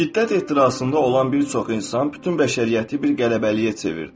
Şiddət ehtirasında olan bir çox insan bütün bəşəriyyəti bir qələbəliyə çevirdi.